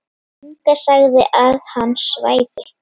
Inga sagði að hann svæfi.